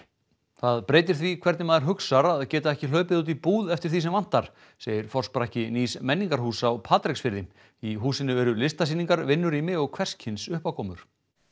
það breytir því hvernig maður hugsar að geta ekki hlaupið út í búð eftir því sem vantar segir forsprakki nýs menningarhúss á Patreksfirði í húsinu eru listasýningar vinnurými og hvers kyns uppákomur